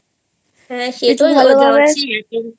ভালোভাবে